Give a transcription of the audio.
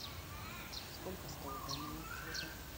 сколько стоит данная услуга